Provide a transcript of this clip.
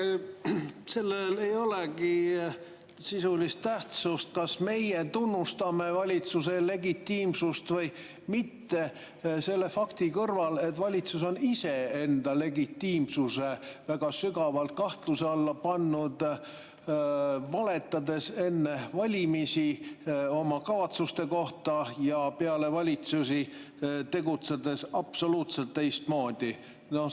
Vaadake, sellel ei olegi sisulist tähtsust, kas meie tunnustame valitsuse legitiimsust või mitte, selle fakti kõrval, et valitsus on iseenda legitiimsuse väga sügavalt kahtluse alla pannud, valetades enne valimisi oma kavatsuste kohta ja peale tegutsedes absoluutselt teistmoodi.